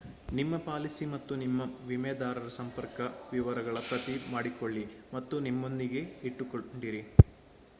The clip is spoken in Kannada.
ನಿಮ್ಮ ಪಾಲಿಸಿ ಮತ್ತು ನಿಮ್ಮ ವಿಮೆದಾರರ ಸಂಪರ್ಕ ವಿವರಗಳ ಪ್ರತಿ ಮಾಡಿಕೊಳ್ಳಿ ಮತ್ತು ನಿಮ್ಮೊಂದಿಗೆ ಇಟ್ಟುಕೊಂಡಿರಿ